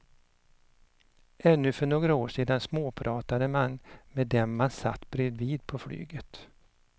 Ännu för några år sedan småpratade man med dem man satt bredvid på flyget.